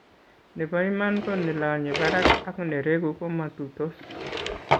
Nebo iman ko nelonye barak ak nereku komatuitos